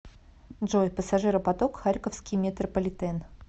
джой пассажиропоток харьковский метрополитен